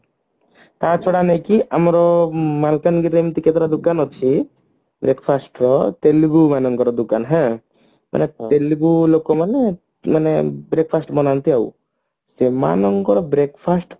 ତା ଛଡା ନୁହଁ କି ଆମର ମାଲକାନଗିରି ରେ ଏମତି କେତେଟା ଦୋକାନ ଅଛି breakfast ର ତେଲୁଗୁ ମାନଙ୍କର ଦୋକାନ ହାଁ ତେଲୁଗୁ ଲୋକମାନେ ମାନେ breakfast ବନାନ୍ତି ଆଉ ସେମାନଙ୍କର breakfast